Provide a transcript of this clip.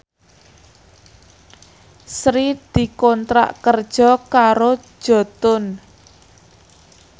Sri dikontrak kerja karo Jotun